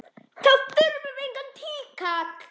Þá þurfum við engan tíkall!